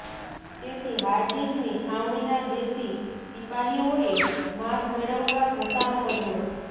તેથી હાર્ડિઝની છાવણીના દેશી શિપાહીઓએ માંસ મેળવવા ઘસારો કર્યો